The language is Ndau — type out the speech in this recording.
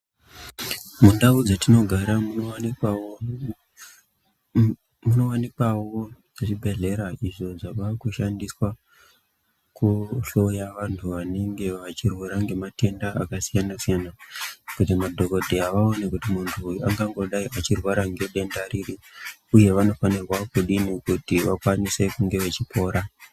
Mundau dzetinogara munowanikwawo zvibhedhlera izvo zvinoshandiswa kuhloya vantu vanenge vachirwara ngematenda akasiyana siyana kuti madhokodheya aone kuti munhu uyu angangodayi achirwara ngedenda riri uye vanofanirwa kudini kuti vakwanise kunge vachipora.